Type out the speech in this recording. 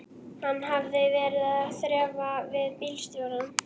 Hann hafði verið að þrefa við bílstjórana.